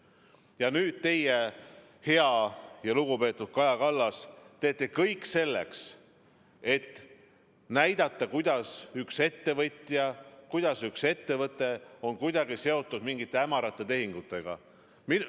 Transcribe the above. Ja nüüd teie, hea ja lugupeetud Kaja Kallas, teete kõik selleks, et näidata, kuidas üks ettevõtja, kuidas üks ettevõte on seotud mingite hämarate tehingutega.